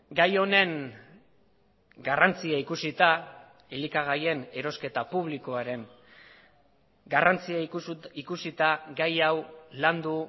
gai honen garrantzia ikusita elikagaien erosketa publikoaren garrantzia ikusita gai hau landu